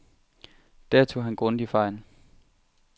Der tog han grundigt fejl.